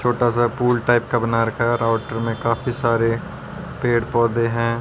छोटा सा पूल टाइप का बना रखा है। राउटर में काफी सारे पेड़ पौधे हैं।